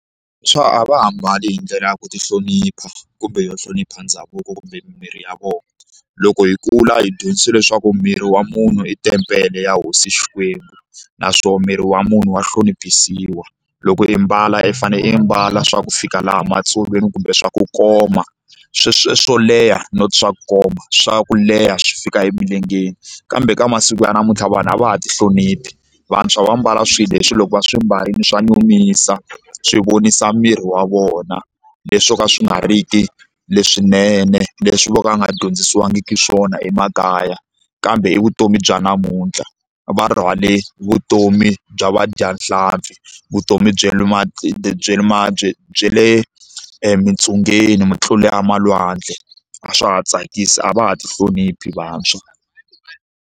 Swa a va ha mbali hi ndlela ya ku ti hlonipha kumbe yo hlonipha ndhavuko kumbe miri ya vona loko hi kula hi dyondzisiwe leswaku miri wa munhu i tempele ya hosi Xikwembu naswona miri wa munhu wa hloniphisiwa loko i mbala i fane i mbala swa ku fika laha matsolweni kumbe swa ku koma swo swo leha not swa ku komba swa ku leha swi fika emilengeni kambe ka masiku ya namuntlha vanhu a va ha ti hloniphi vantshwa va mbala swilo leswi loko va swi mbarile swa nyumisa swi vonisa miri wa vona leswi swo ka swi nga ri ki leswinene leswi vo ka va nga dyondzisiwangiki swona emakaya kambe i vutomi bya namuntlha va rhwale vutomi bya vadyahlampfi vutomi bya le bya le emitsungeni mutluli wa malwandle a swa ha tsakisi a va ha ti hloniphi vantshwa.